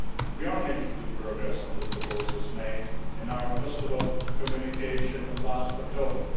We are making good progress on the proposals made in our Kosovo communication of last October.